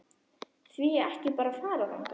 Því ekki að fara bara þangað?